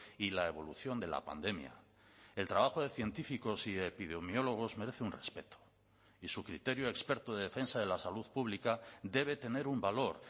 y la evolución de la pandemia el trabajo de científicos y epidemiólogos merece un respeto y su criterio experto de defensa de la salud pública debe tener un valor